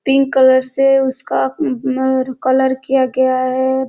Pink colour से उसका colour किया गया है।